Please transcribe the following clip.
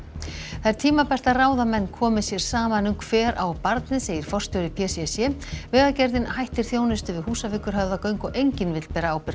það er tímabært að ráðamenn komi sér saman um hver á barnið segir forstjóri p c c vegagerðin hættir þjónustu við Húsavíkurhöfðagöng og enginn vill bera ábyrgð á